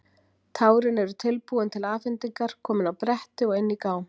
Tárin eru tilbúin til afhendingar, komin á bretti og inn í gám.